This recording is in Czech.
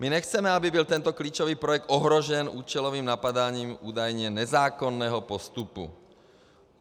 My nechceme, aby byl tento klíčový projekt ohrožen účelovým napadáním údajně nezákonného postupu.